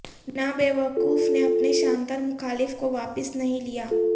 Nabokov نے اپنے شاندار مخالف کو واپس نہیں لیا